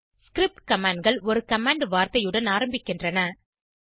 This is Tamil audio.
ஸ்கிரிப்ட் commandகள் ஒரு கமாண்ட் வார்த்தையுடன் ஆரம்பிக்கின்றன